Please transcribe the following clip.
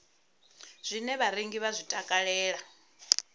zwine vharengi vha zwi takalela